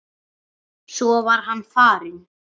Svo var hann farinn.